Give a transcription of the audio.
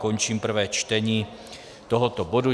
Končím prvé čtení tohoto bodu.